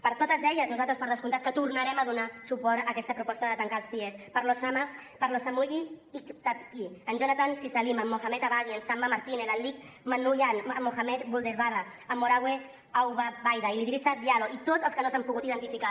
per totes elles nosaltres per descomptat que tornarem a donar suport a aquesta proposta de tancar els cies per l’osama per osamuyi aikpitanyi en jonathan sizalim en mohamed abagui en samba martine l’alik manukyan en mohamed bouderbala en marouane abouobaida i l’idrissa diallo i tots els que no s’han pogut identificar